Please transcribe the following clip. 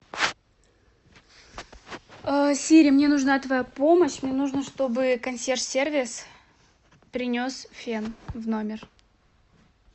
сири мне нужна твоя помощь мне нужно чтобы консьерж сервис принес фен в номер